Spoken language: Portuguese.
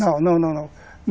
Não, não, não, não.